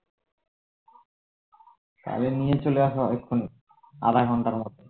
তাহলে নিয়ে চলে আসো এক্ষুনি আধাঘন্টার মধ্যে